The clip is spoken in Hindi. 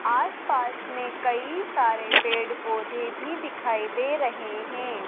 आस पास में कई सारे पेड़ पौधे भी दिखाई दे रहे हैं।